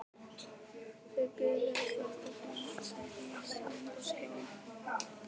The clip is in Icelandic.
Þau biðu öll eftir framhaldinu starandi á skjáinn.